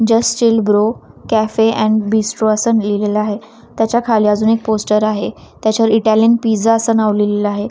Just chill bro cafe and bistro असं लिहिलेल आहे त्याच्या खाली अजून एक पोस्टर आहे त्याच्यावर इटालियन पिझ्झा असं नाव लिहिलेलं आहे.